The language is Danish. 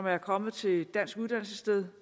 er kommet til et dansk uddannelsessted